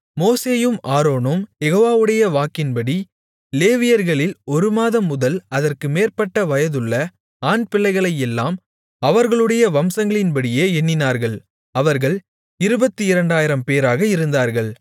மோசேயும் ஆரோனும் யெகோவாவுடைய வாக்கின்படி லேவியர்களில் ஒரு மாதம் முதல் அதற்கு மேற்பட்ட வயதுள்ள ஆண்பிள்ளைகளையெல்லாம் அவர்களுடைய வம்சங்களின்படியே எண்ணினார்கள் அவர்கள் 22000 பேராக இருந்தார்கள்